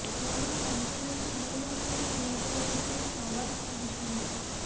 ମୋର ମନ୍ତବ୍ୟକୁ ଭୁଲ୍ ଅର୍ଥରେ ନିଆଯାଉଛି ବୋଲି ଫାଓ୍ୱାଦ କହିଛନ୍ତି